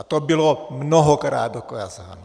A to bylo mnohokrát dokázáno.